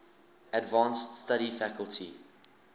advanced study faculty